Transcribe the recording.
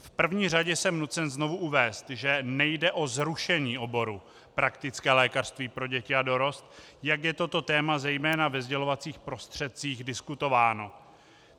V první řadě jsem nucen znovu uvést, že nejde o zrušení oboru praktické lékařství pro děti a dorost, jak je toto téma, zejména ve sdělovacích prostředcích, diskutováno.